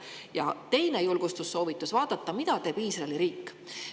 Ja teine julgustussoovitus oleks vaadata, mida teeb Iisraeli riik.